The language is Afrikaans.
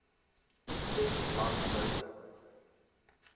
stem langs duidelik